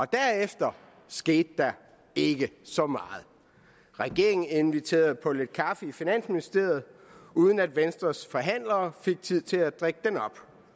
derefter skete der ikke så meget regeringen inviterede på lidt kaffe i finansministeriet uden at venstres forhandlere fik tid til at drikke den op